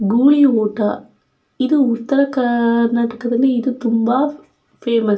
ಗೂಳಿ ಊಟ ಇದು ಉತ್ತರ ಕಾರ್ನಾಟಕದಲ್ಲಿ ಇದು ತುಂಬ ಫೇಮಸ್ .